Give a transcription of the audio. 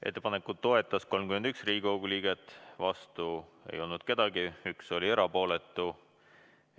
Ettepanekut toetas 31 Riigikogu liiget, vastu ei olnud keegi, 1 erapooletu.